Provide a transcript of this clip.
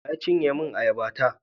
Wa ya cinye min ayaba ta?